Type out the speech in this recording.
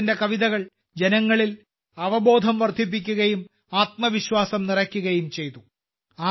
അദ്ദേഹത്തിന്റെ കവിതകൾ ജനങ്ങളിൽ അവബോധം വർദ്ധിപ്പിക്കുകയും ആത്മവിശ്വാസം നിറയ്ക്കുകയും ചെയ്തു